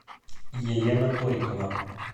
елена торикова